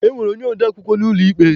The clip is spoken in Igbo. E nwere onye ode akwukwọ n'ụlọ ikpe.